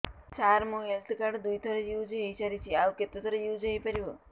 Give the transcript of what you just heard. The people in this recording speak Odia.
ସାର ମୋ ହେଲ୍ଥ କାର୍ଡ ଦୁଇ ଥର ୟୁଜ଼ ହୈ ସାରିଛି ଆଉ କେତେ ଥର ୟୁଜ଼ ହୈ ପାରିବ